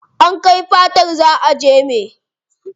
An kai fatar za a jeme.